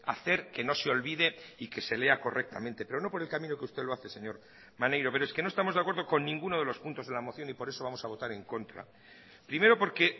hacer que no se olvide y que se lea correctamente pero no por el camino que usted lo hace señor maneiro pero es que no estamos de acuerdo con ninguno de los puntos de la moción y por eso vamos a votar en contra primero porque